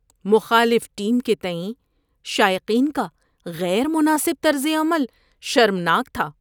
مخالف ٹیم کے تئیں شائقین کا غیر مناسب طرز عمل شرمناک تھا۔